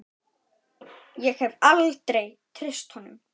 Ég hef aldrei treyst honum.